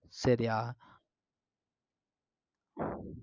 சரியா